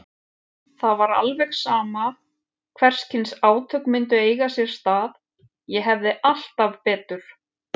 Það var alveg sama hvers kyns átök myndu eiga sér stað, ég hefði alltaf betur.